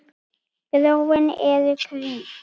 Gróin eru hvít.